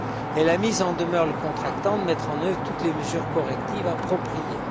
Elle a mis en demeure le contractant de mettre en œuvre toutes les mesures correctives appropriées.